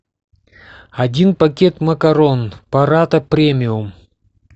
один пакет макарон парата премиум